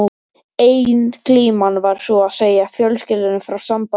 Ein glíman var sú að segja fjölskyldunni frá sambandi okkar.